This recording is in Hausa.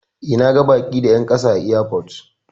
E, na ga baki da 'yan kasa a airport.